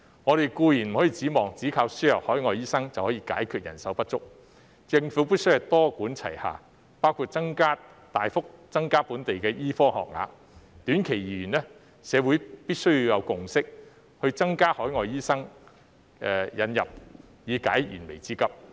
我們固然不能指望單靠輸入海外醫生便可以解決人手不足問題，政府必須多管齊下，包括大幅增加本地醫科學額；短期而言，社會必須要有共識，增加引入海外醫生以解燃眉之急。